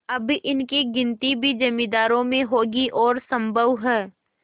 अब इनकी गिनती भी जमींदारों में होगी और सम्भव है